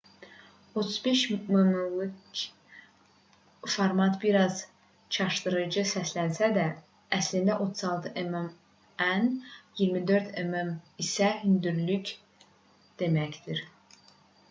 35 mm-lik format bir az çaşdırıcı səslənsə də əslində 36 mm en 24 mm isə hündürlük deməkdir